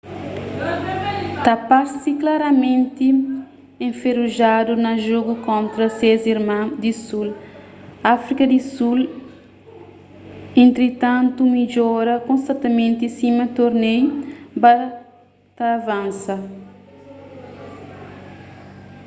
ta parse klaramenti enferujadu na jogu kontra ses irma di sul áfrika di sul entritantu midjora konstantimenti sima torneiu ba ta avansa